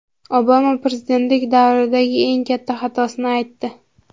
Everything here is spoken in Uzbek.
Obama prezidentlik davridagi eng katta xatosini aytdi.